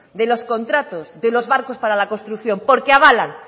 de los contratos de los barcos para la construcción porque avalan